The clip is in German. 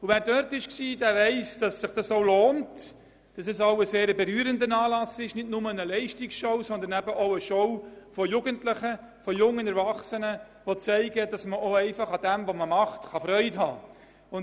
Wer schon dort anwesend war, weiss, dass sich dies lohnt und es auch ein sehr berührender Anlass ist, nicht nur eine Leistungsschau, sondern auch eine Schau von Jugendlichen, von jungen Erwachsenen, die zeigen, dass man an seiner Tätigkeit Freude haben kann.